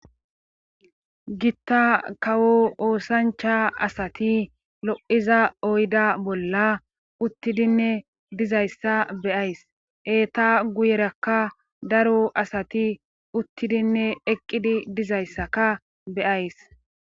gitta kawo oosancha asati lo'iza oyda bolla uttidinne dizayssa be'ays eta guyerakka daro asati uttidinne eqqidi dizayssaka be'ays